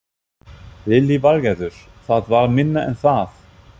Lillý Valgerður: Það var minna en það?